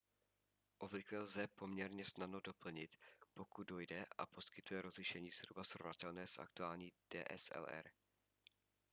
obvykle lze poměrně snadno doplnit pokud dojde a poskytuje rozlišení zhruba srovnatelné s aktuální dslr